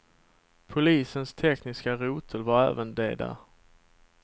Polisens tekniska rotel var även de där.